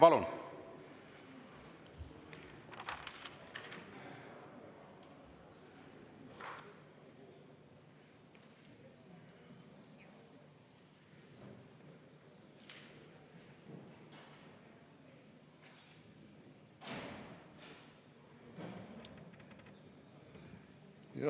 Palun!